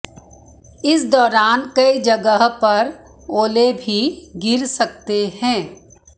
इस दौरान कई जगह पर ओले भी गिर सकते हैं